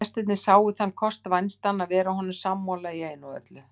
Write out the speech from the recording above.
Gestirnir sáu þann kost vænstan að vera honum sammála í einu og öllu.